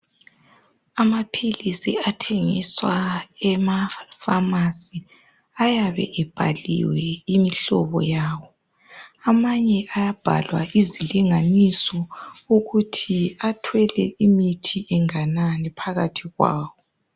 Amaphilisi athengiswa emafamasi ayabe ebhaliwe imihlobo yawo, amanye ayabhalwa izilinganiso ukuthi athwele imithi enganani phakathi kwawo.